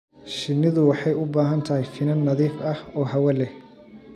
Shinnidu waxay u baahan tahay finan nadiif ah oo hawo leh.